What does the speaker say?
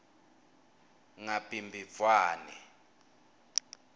ngabhimbidvwane